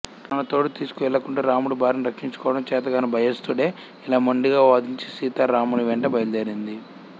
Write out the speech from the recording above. తనను తోడు తీసుకువెళ్ళకుంటే రాముడు భార్యను రక్షించుకోవడం చేతకాని భయస్తుడే ఇలా మొండిగా వాదించి సీత రాముని వెంట బయలుదేరింది